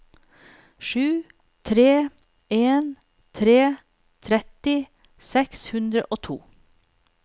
sju tre en tre tretti seks hundre og to